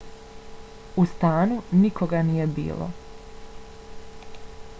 u stanu nikoga nije bilo